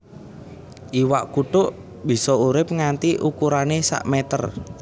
Iwak kutuk bisa urip nganti ukurané sak meter